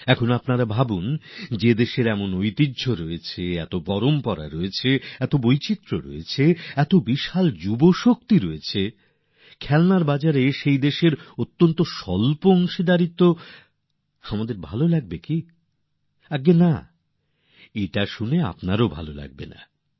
এবার আপনারাই ভাবুন যে দেশের হাতে এত বড় উত্তরাধিকার ঐতিহ্য বৈচিত্র্য রয়েছে যুবসম্পদ রয়েছে খেলনার বিপননে আমাদের এতটা কম অংশিদারিত্ব ভালো লাগবে কি একদমই না এটা শোনার পর তো আপনাদের আরও ভালো লাগবে না